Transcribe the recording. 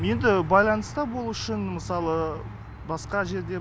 енді байланыста болу үшін мысалы басқа жерде